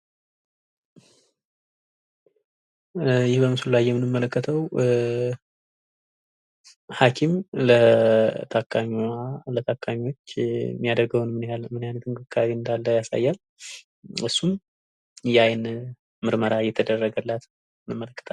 ይህ በምስሉ ላይ የምንመለከተው ኧ.. ሀኪም ለታከሚዋ የታከሚች የሚያደርገውን ምን ያህል ምን አይነት እንክብካቤ እንዳለ ያሳያል። እሱም የአይን ምርመራ የተደረገላት ያመለክታል።